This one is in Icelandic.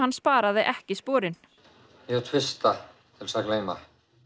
sparaði ekki sporin ég tvista til að gleyma